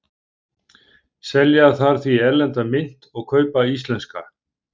Selja þarf því erlenda mynt og kaupa íslenska.